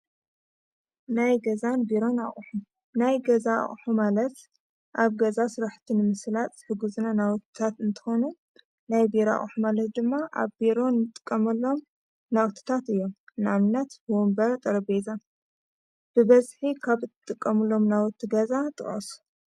ናይ ገዛን ቢሮ ን ኣቑሕ ናይ ገዛ ሕማለት ኣብ ገዛ ሥራሕቲ ንምስላጥ ዝሕዝነ ናዉታት እንተኮኑ ናይ ቢሮ ኦኣሕ ማለት ድማ ኣብ ቢሮን ጥቀመሎም ናውትታት እዮም። ናአብነት ወንበር፣ ጠረቤዛ ፣ብበዝሒ ኻብ ጥቐምሎም ናዉቲ ገዛ ጥቀሱ?